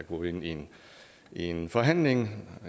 gå ind ind i en forhandling